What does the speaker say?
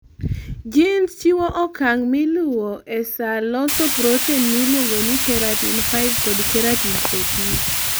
genes chiwo okang' ma iluwo ee saa losos protein mailuongo ni keratin5 kod keratin 14